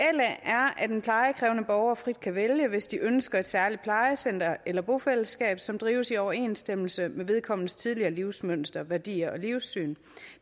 at en plejekrævende borger frit kan vælge hvis de ønsker et særligt plejecenter eller bofællesskab som drives i overensstemmelse med vedkommendes tidligere livsmønster værdier og livssyn